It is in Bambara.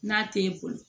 N'a tɛ boli